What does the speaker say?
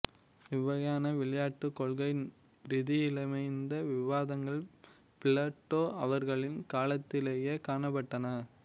இவ்வகையான விளையாட்டுக் கொள்கை ரீதியலமைந்த விவாதங்கள் பிளேட்டோ அவர்களின் காலத்திலேயே காணப்பட்டன